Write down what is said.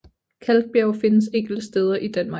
Kalkbjerge findes enkelte steder i Danmark